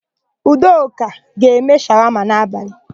Udoka ga-eme shawama n'abalị.